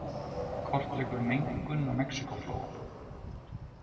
Kortleggur mengun á Mexíkóflóa